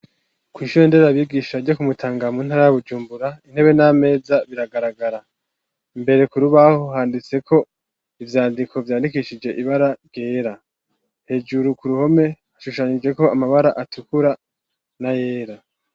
Kwishuri nderabigisha ryo ku Mutanga muntara ya Bujumbura, intebe n'ameza biragaragara, imbere kurubaho handitseko ivyandiko vyandikishije ibara ryera , hejuru kuruhome hashushanijeko amabara atukura n'ayera.